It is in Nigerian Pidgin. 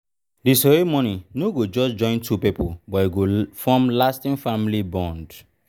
di ceremony no go just join two people but go form lasting family bond.